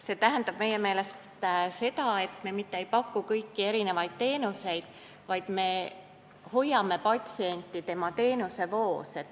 See tähendab meie meelest seda, et me mitte ei paku kõikvõimalikke teenuseid, vaid me hoiame patsienti tema teenusevoos.